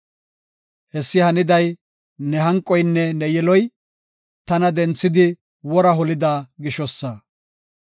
Hessi haniday ne hanqoynne ne yiloy, tana denthadi wora holida gishosa.